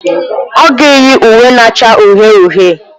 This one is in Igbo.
Ọ ga-eyi uwe na-acha uhie uhie.